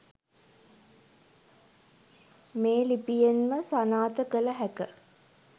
මේ ලිපියෙන්ම සනාත කල හැක.